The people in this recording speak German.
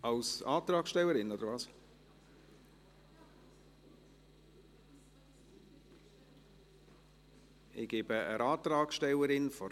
Ich gebe der Antragstellerin der Minderheit noch einmal das Wort.